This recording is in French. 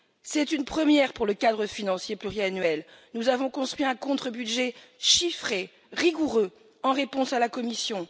C'est une première pour le cadre financier pluriannuel nous avons construit un contre budget chiffré, rigoureux, pour répondre à la Commission.